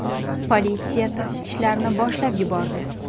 Politsiya taftishlarni boshlab yubordi.